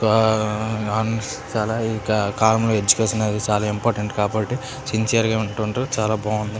వా అ చాలా కామ్ ఎడ్యుకేషన్ అది చాలా ఇంపార్టెంట్ కాబట్టి సిన్సియర్గా ఉంటారు చాలా బాగుంది.